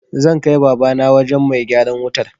Zan kai Babana wajen mai gyaran wutar.